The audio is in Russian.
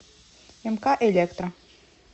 мк электро